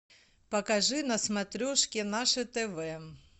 покажи на смотрешке наше тв